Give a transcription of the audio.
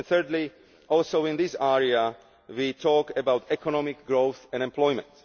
Thirdly, also in this area we talk about economic growth and employment.